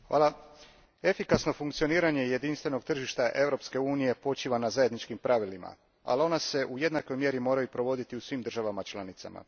Gospođo predsjednice, efikasno funkcioniranje jedinstvenog tržišta Europske unije počiva na zajedničkim pravilima, ali ona se u jednakoj mjeri moraju provoditi u svim državama članicama.